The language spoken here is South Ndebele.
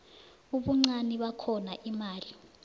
ubuncani bakhona imali